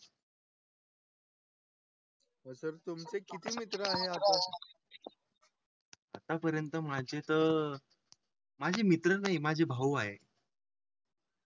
Sir तुमचा किती मित्र आहे? आतापर्यंत माझे तर. माझे मित्र आणि माझा भाऊ आहे.